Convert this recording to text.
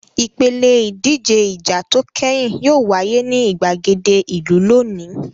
Ìpèlè ìdíje ìjà tó kẹ́yìn yóò wáyé ní ìgbàgede ìlú lónìí.